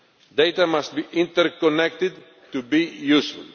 Data must be interconnected to be useful.